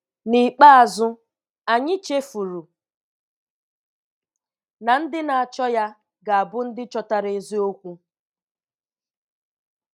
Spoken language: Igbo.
N'ikpeazụ, anyị chefuru na ndị na-achọ Ya, ga-abụ ndị chọtara eziokwu.